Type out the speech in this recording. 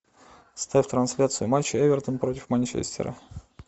ставь трансляцию матча эвертон против манчестера